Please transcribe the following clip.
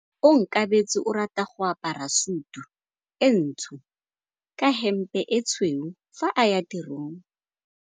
Onkabetse o rata go apara sutu e ntsho ka hempe e tshweu fa a ya tirong.